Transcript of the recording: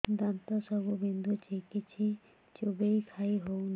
ଦାନ୍ତ ସବୁ ବିନ୍ଧୁଛି କିଛି ଚୋବେଇ ଖାଇ ହଉନି